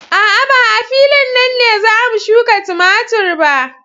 A'a, ba a filin nan ne za mu shuka tumatur ba.